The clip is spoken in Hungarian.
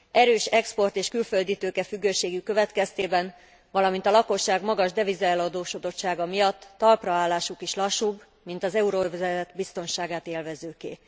Erős export és külfölditőke függőségük következtében, valamint a lakosság magas devizaeladósodottsága miatt talpraállásuk is lassúbb, mint az euróövezet biztonságát élvezőké.